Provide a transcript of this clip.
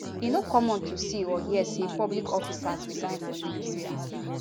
e no common to see or hear say public officers resign for nigeria